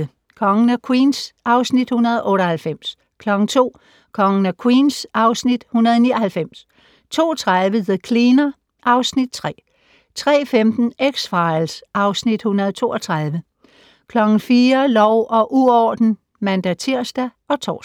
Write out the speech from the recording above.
01:35: Kongen af Queens (Afs. 198) 02:00: Kongen af Queens (Afs. 199) 02:30: The Cleaner (Afs. 3) 03:15: X-Files (Afs. 132) 04:00: Lov og uorden (man-tir og tor)